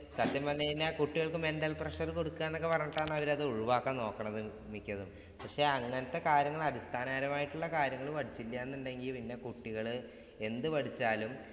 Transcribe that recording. സത്യം പറഞ്ഞാല്‍ കുട്ടികൾക്ക് mental pressure കൊടുക്കുക എന്ന് പറഞ്ഞിട്ടാണ് അവരത് ഒഴിവാക്കാൻ നോക്കണത് മിക്കതും. അങ്ങനത്തെ കാര്യങ്ങൾ അടിസ്ഥാനപരമായ കാര്യങ്ങൾ പഠിച്ചില്ല എന്നുണ്ടെങ്കിൽ പിന്നെ കുട്ടികൾ എന്തു പഠിച്ചാലും